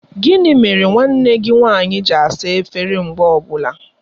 Gịnị mere nwanne gị nwanyị gị asa efere mgbe ọbụla?